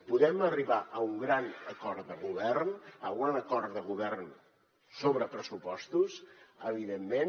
podem arribar a un gran acord de govern a un acord de govern sobre pressupostos evidentment